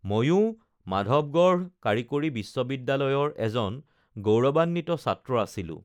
ময়ো মাধৱগঢ় কাৰিকৰী বিশ্ববিদ্যালয়ৰ এজন গৌৰৱান্বিত ছাত্ৰ আছিলো